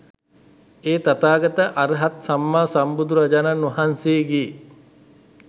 ඒ තථාගත අර්හත් සම්මා සම්බුදුරජාණන් වහන්සේගේ